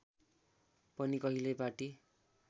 पनि कहिल्यै पार्टी